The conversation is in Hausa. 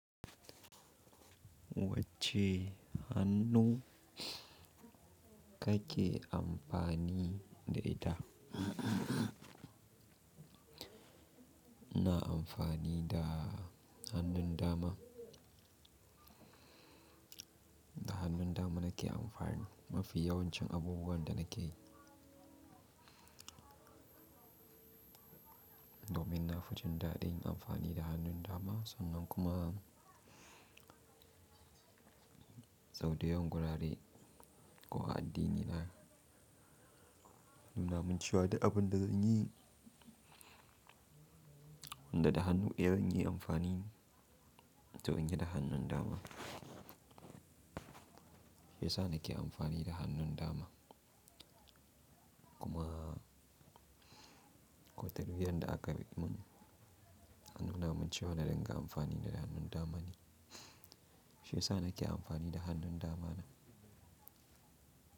Wacce hannu kake amfani da ita? Na amfani da hannun dama. Da hannun dama nake amfani, mafi yawancin abubuwan da nake yi. Domin na fi jin dadin amfani da hannun dama sannan kuma Sauda yawan gurare ko a'addinina. Nuna muncewa duk abin da zan yi, wanda da hannu daya zan iya amfani to zan yi da hannun dama. Shiya sa na ke amfani da hannun dama kuma ko talbiyan da aka yi mun, hannun dama mun cewa na dinga amfani da hannun dama ne. Shi sanda ke amfani da hannun dama na.